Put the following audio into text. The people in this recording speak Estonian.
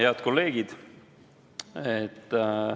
Head kolleegid!